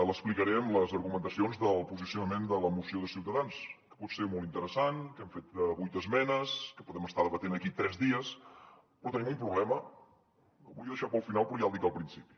l’explicaré amb les argumentacions del posicionament de la moció de ciutadans que pot ser molt interessant que hem fet vuit esmenes que podem estar debatent aquí tres dies però tenim un problema el volia deixar per al final però ja el dic al principi